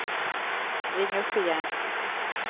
ring upp igen